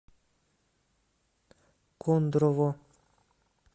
кондрово